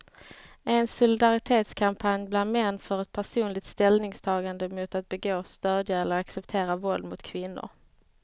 En solidaritetskampanj bland män för ett personligt ställningstagande mot att begå, stödja eller acceptera våld mot kvinnor.